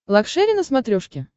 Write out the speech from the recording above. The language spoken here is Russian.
лакшери на смотрешке